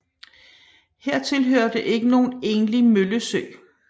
Hertil hørte ikke nogen egentlig møllesø